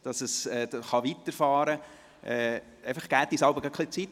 Geben Sie uns einfach jeweils ein wenig Zeit.